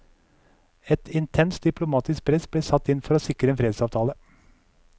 Et intenst diplomatisk press ble satt inn for å sikre en fredsavtale.